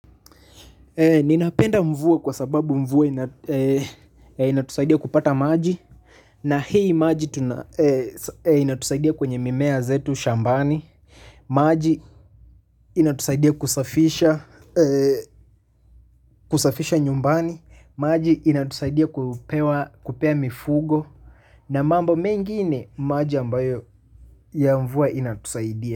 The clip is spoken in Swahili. Ninapenda mvua kwa sababu mvua ina inatusaidia kupata maji na hii maji inatusaidia kwenye mimea zetu shambani. Maji inatusaidia kusafisha nyumbani, maji inatusaidia kupea mifugo na mambo mengine maji ambayo ya mvua inatusaidia.